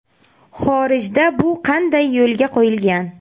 Xorijda bu qanday yo‘lga qo‘yilgan?